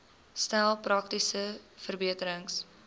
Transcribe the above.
stel praktiese verbeterings